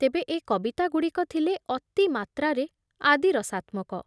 ତେବେ ଏ କବିତାଗୁଡ଼ିକ ଥିଲେ ଅତି ମାତ୍ରାରେ ଆଦି ରସାତ୍ମକ ।